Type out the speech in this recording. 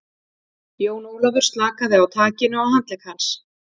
Jón Ólafur slakaði á takinu á handlegg hans.